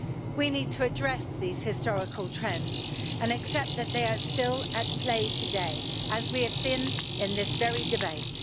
We need to address these historical trends and accept that they are still at play today, as we have seen in this very debate.